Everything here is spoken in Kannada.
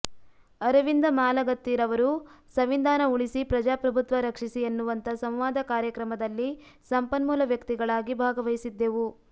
ಅರವಿಂದ ಮಾಲಗತ್ತಿ ರವರು ಸಂವಿಧಾನ ಉಳಿಸಿ ಪ್ರಜಾಪ್ರಭುತ್ವ ರಕ್ಷಿಸಿ ಎನ್ನುವಂತ ಸಂವಾದ ಕಾರ್ಯಕ್ರಮದಲ್ಲಿ ಸಂಪನ್ಮೂಲ ವ್ಯಕ್ತಿಗಳಾಗಿ ಭಾಗವಹಿಸಿದ್ದೆವು